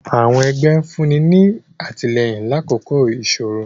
àwọn ẹgbẹ nfunni ni atilẹyin lakoko isoro.